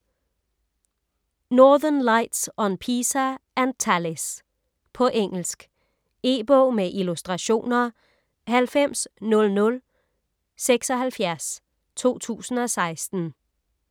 Northern Lights on PISA and TALIS På engelsk. E-bog med illustrationer 900076 2016.